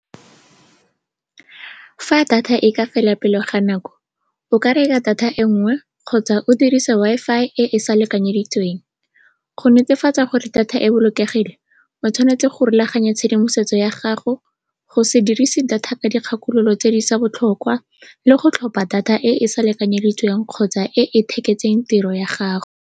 Fa data e ka fela pele ga nako, o ka reka data e nngwe kgotsa o dirisa Wi-Fi e e sa lekanyeditsweng. Go netefatsa gore data e bolokegile, o tshwanetse go rulaganya tshedimosetso ya gago, go se dirise data ka dikgakololo tse di seng botlhokwa le go tlhopha data e e sa lekanyeditsweng kgotsa e e tiro ya gago.